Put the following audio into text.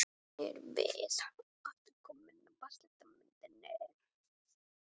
Þarna erum við aftur komin að vatnslitamyndinni.